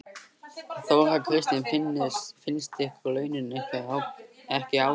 Þóra Kristín: Finnst ykkur launin ykkar ekki ásættanleg?